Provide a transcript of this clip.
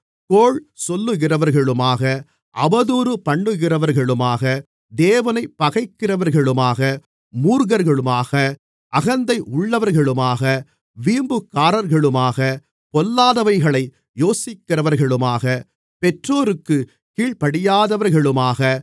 கோள் சொல்லுகிறவர்களுமாக அவதூறு பண்ணுகிறவர்களுமாக தேவனைப் பகைக்கிறவர்களுமாக மூர்க்கர்களுமாக அகந்தை உள்ளவர்களுமாக வீம்புக்காரர்களுமாக பொல்லாதவைகளை யோசிக்கிறவர்களுமாக பெற்றோருக்குக் கீழ்ப்படியாதவர்களுமாக